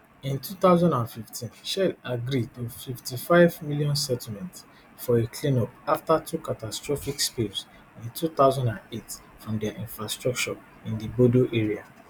in two thousand and fifteen shell agree to a fifty-fivem settlement for a cleanup afta two catastrophic spills in two thousand and eight from dia infrastructure in di bodo area